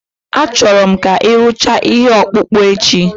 Achọrọ m ka ị rụchaa ihe ọkpụkpụ echi